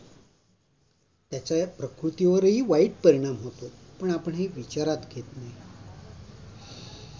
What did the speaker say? त्याचा प्रकृती वाराही वाईट परिणाम होतो पण आपण हे विचारात घेत नाही